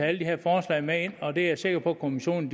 alle de her forslag med ind og det er jeg sikker på at kommissionen